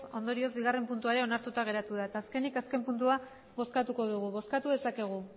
hogei ondorioz bigarren puntua ere onartuta geratu da eta azkenik azken puntua bozkatuko dugu bozkatu dezakegu